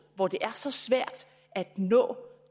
hvor det er så svært at nå